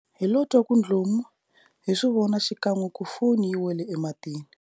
Hilo twa ku dlomu, hi swi vona xikan'we ku foni yi wele ematini.